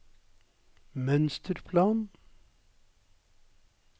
mønsterplan